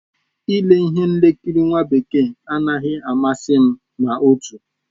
Ile ihe nkiri nwa bekee anaghị amasị m ma otu